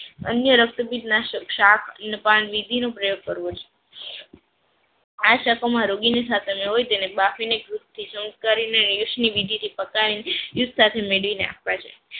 અન્ય રક્તપિત નાસક સાક અને પાનવિધિ નો પ્રયોગ કરવો જોઈએ. આ સાફા માં રોગીને સાથે માં હોય તેને બાફે ને રેસમીવિધિ થી પાકાવિને દૂધ સાથે મેળવિને આપવા જોઈએ